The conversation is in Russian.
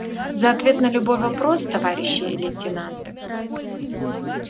за ответ на любой вопрос товарищи лейтенанты